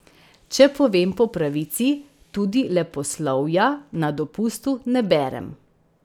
Če povem po pravici, tudi leposlovja na dopustu ne berem.